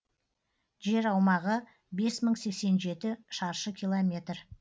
жер аумағы бес мың сексен жеті шаршы километр